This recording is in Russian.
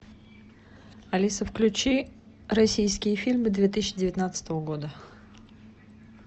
алиса включи российские фильмы две тысячи девятнадцатого года